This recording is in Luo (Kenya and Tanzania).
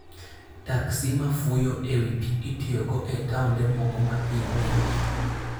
Taxis ma fuyo e wi pi itiyogo e taonde moko ma pi ng'enyie.